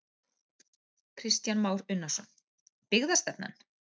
Kristján Már Unnarsson: Byggðastefnan?